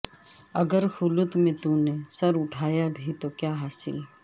اگر خلوت میں تونے سر اٹھایا بھی تو کیا حاصل